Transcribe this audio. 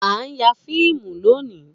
A n ya fiimu loni